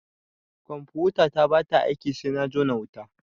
Confutata ba ta aiki sai na jona da wuta.